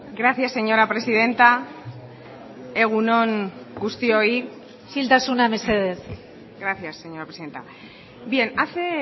gracias señora presidenta egun on guztioi isiltasuna mesedez gracias señora presidenta bien hace